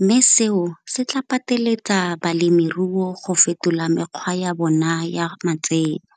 mme seo se tla pateletsega balemiruo go fetola mekgwa ya bona ya matseno.